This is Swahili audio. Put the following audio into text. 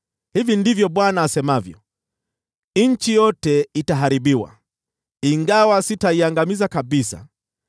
Hivi ndivyo Bwana asemavyo: “Nchi yote itaharibiwa, ingawa sitaiangamiza kabisa.